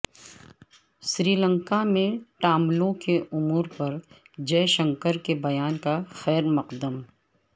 سری لنکا میں ٹاملوں کے امورپر جئے شنکر کے بیان کا خیرمقدم